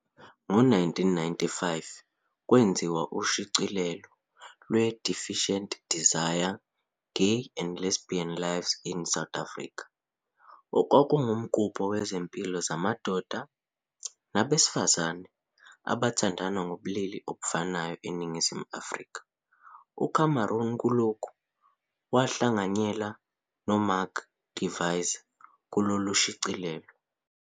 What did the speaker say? Ngo-1995 kwenziwa ushicilelo lwe-"Defiant Desire- Gay and Lesbian Lives in South Africa", "okwakuwumgubho wezimpilo zamadoda nabesifazana abathandana ngokobulili obofanayo eNingizimu Afrika" uCameron kulokhu wahlanganyela noMark Gevisser kushicilelo.